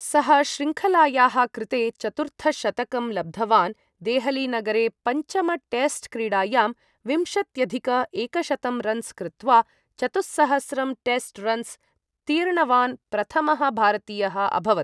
सः श्रृङ्खलायाः कृते चतुर्थशतकं लब्धवान्, देहलीनगरे पञ्चमटेस्ट् क्रीडायां विंशत्यधिक एकशतं रन्स् कृत्वा, चतुःसहस्रं टेस्ट् रन्स् तीर्णवान् प्रथमः भारतीयः अभवत्।